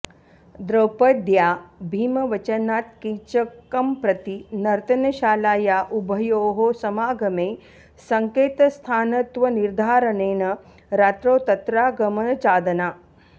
द्रौपद्या भीमवचनात्कीचकंप्रति नर्तनशालाया उभयोः समागमे संकेतस्थानत्वनिर्धारणेन रात्रौ तत्रागमनचादना